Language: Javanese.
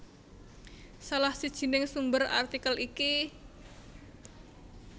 Salah sijining sumber artikel iki